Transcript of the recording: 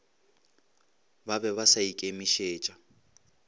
ba be ba sa ikemišetša